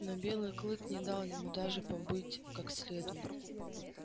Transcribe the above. но белый клык не дал ему даже побыть как следует